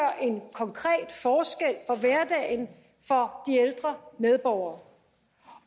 konkret forskel for hverdagen for de ældre medborgere